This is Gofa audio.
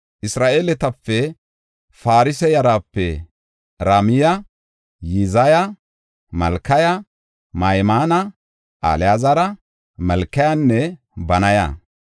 Isra7eeletape, Faroosa yarape Ramiya, Yizaya, Malkiya, Mayamina, Alaazara, Malkiyanne Banaya.